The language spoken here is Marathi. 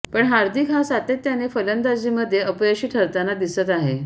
पण हार्दिक हा सातत्याने फलंदाजीमध्ये अपयशी ठरताना दिसत आहे